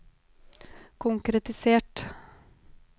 konkretisert